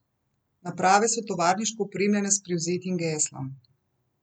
Naprave so tovarniško opremljene s privzetim geslom.